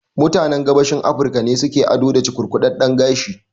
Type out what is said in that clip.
Mutanen Gabashin Afirika ne su ke ado da cukurkudadden gashi